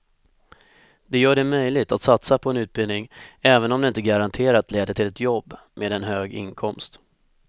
Det gör det möjligt att satsa på en utbildning även om den inte garanterat leder till ett jobb med en hög inkomst.